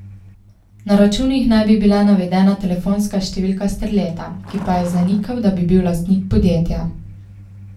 Na računih naj bi bila navedena telefonska številka Sterleta, ki pa je zanikal, da bi bil lastnik podjetja.